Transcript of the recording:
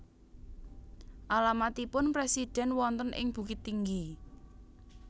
Alamatipun presiden wonten ing Bukittinggi